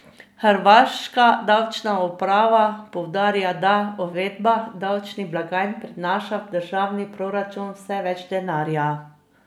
Hrvaška davčna uprava poudarja, da uvedba davčnih blagajn prinaša v državni proračun vse več denarja.